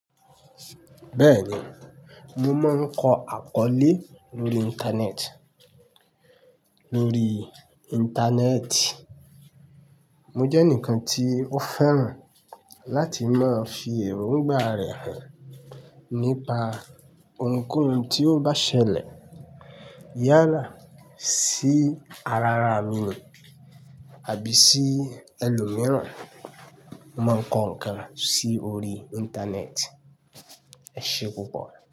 Bẹ́ẹ̀ni, mo máa ń kọ àkọlé lórí Íńtánẹ́ẹ̀tì. Mo jẹ́ ǹkan tí mo fẹ́ràn láti máa fi èrò ǹgbà rẹ̀ hàn nípa ohunkóhun tí ó bá ṣẹlẹ̀ yálà sí ara à mi àbí sí ẹlòmíràn. Mo máa ń kọ nǹkan sí orí Íńtánẹ́ẹ̀tì. Ẹ ṣé púpọ̀.